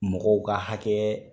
Mɔgɔw ka hakɛ